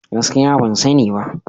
Gaskiya ban sani ba.